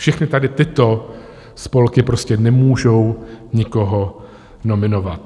Všechny tady tyto spolky prostě nemůžou nikoho nominovat.